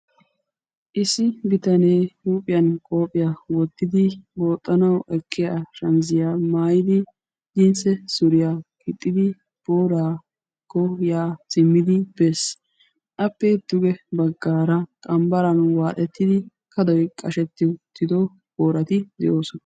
issi bitanee huuphiyan qoophiyaa wottidi booxxanau eqqiya shamizziyaa maayidi jinsse suriyaa gixxidi pora koyaa simmidi bees. appe duge baggaara qambbaran waaxettidi kadoy qashetti utido boorati de'oosona.